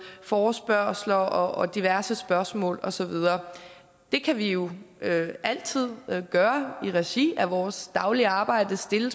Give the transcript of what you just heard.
forespørgsler og diverse spørgsmål og så videre det kan vi jo altid gøre i regi af vores daglige arbejde stille